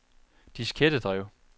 diskettedrev